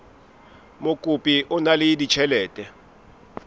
mokopi o na le ditjhelete